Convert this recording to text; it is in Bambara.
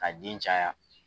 K'a den caya